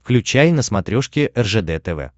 включай на смотрешке ржд тв